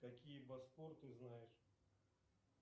какие босфор ты знаешь